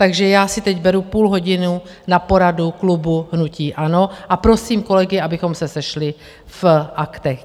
Takže já si teď beru půl hodiny na poradu klubu hnutí ANO a prosím kolegy, abychom se sešli v Aktech.